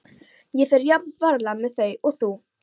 Ég fer jafn varlega með þau og þú.